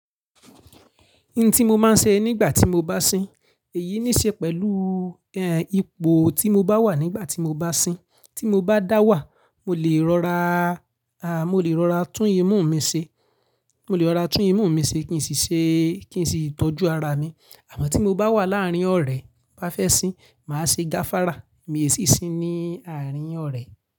Ohun tí mo máa ń ṣe nígbà tí mo bá sín, èyí ní ṣe pẹ̀lú, eh, ipò tí mo bá wà nígbà tí mo bá sín. Tí mo bá dá wà, mo lè rọra, ah, mo lè rọra tún imú mi ṣe, mo lè rọra tún imú mi ṣe kí n sì ṣe, kí n sì tọ́jú ara mi. Àmọ́ tí mo bá wà láàárín ọ̀rẹ́ bá fẹ́ sín, màá ṣe gafára, mi ò sì sín ní àárín ọ̀rẹ́.